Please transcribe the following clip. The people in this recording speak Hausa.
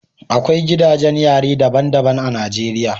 Akwai gidajen yari daban-daban a Najeriya